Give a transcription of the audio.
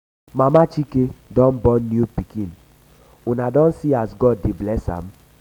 mama chike don um born new pikin una um don see how god dey bless am?